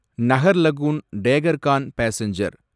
Naharlagun Dekargaon passenger